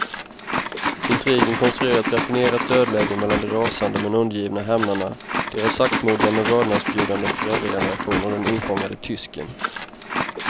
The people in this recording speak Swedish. Intrigen konstruerar ett raffinerat dödläge mellan de rasande men undergivna hämnarna, deras saktmodiga men vördnadsbjudande föräldrageneration och den infångade tysken.